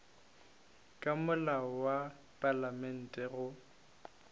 ka molao wa palamente go